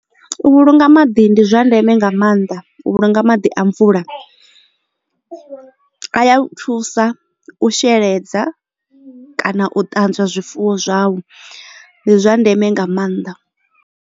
U vhulunga maḓi ndi zwa ndeme nga maanḓa u vhulunga maḓi a mvula a ya thusa u sheledza kana u ṱanzwa zwifuwo zwau ndi zwa ndeme nga maanḓa.